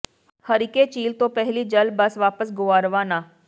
ਹਰੀਕੇ ਝੀਲ ਤੋਂ ਪਹਿਲੀ ਜਲ ਬੱਸ ਵਾਪਸ ਗੋਆ ਰਵਾਨਾ